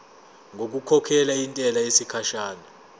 ngokukhokhela intela yesikhashana